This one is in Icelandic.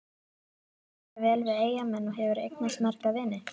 Líkar þér vel við Eyjamenn og hefurðu eignast marga vini?